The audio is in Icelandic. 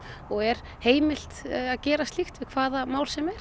og er heimilt að gera slíkt við hvaða mál sem